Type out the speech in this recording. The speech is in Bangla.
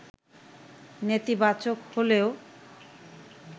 নেতিবাচক হলেও